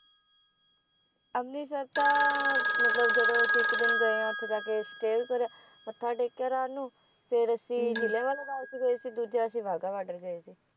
ਅੰਮ੍ਰਿਤਸਰ ਤਾਂ ਮਤਲਬ ਜਦੋ ਅਸੀਂ ਇੱਕ ਦਿਨ ਗਏ ਆ ਉੱਥੇ ਜਾਕੇ stay ਕਰਿਆ ਮੱਥਾ ਟੇਕਿਆ ਰਾਤ ਨੂੰ ਫੇਰ ਅਸੀਂ ਜਲ੍ਹਿਆਂਵਾਲਾ ਬਾਗ ਚ ਗਏ ਸੀ ਦੂਜਾ ਅਸੀਂ ਵਾਗਾ ਬਾਰਡਰ ਗਏ ਸੀ